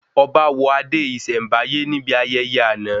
Ọba wọ adé ìsèm̀báyé níbi ayẹyẹ àna